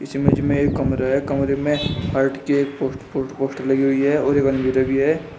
इस इमेज में एक कमरा है। कमरे में हार्ट की पोस पोस पोस्टर लगी हुई है और लगी है।